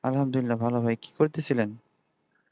আলহামদুলিল্লাহ ভালো ভাই কি করতে ছিলেন